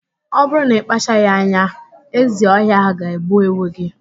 Ọ bụrụ na ị kpachaghị anya, ezi ọhịa ạhụ ga-egbu ewu gị.